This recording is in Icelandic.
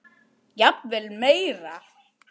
Jafnvel meira.